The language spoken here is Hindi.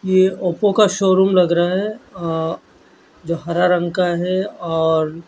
ये ओप्पो का शोरूम लग रहा है अ जो हर रंग का है और--